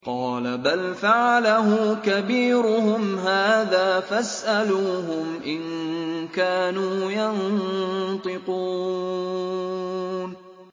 قَالَ بَلْ فَعَلَهُ كَبِيرُهُمْ هَٰذَا فَاسْأَلُوهُمْ إِن كَانُوا يَنطِقُونَ